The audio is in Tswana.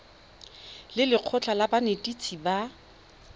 le lekgotlha la banetetshi ba